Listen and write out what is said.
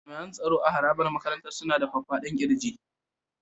Jami'an tsaro a harabar makarantar suna da faffadan ƙirji.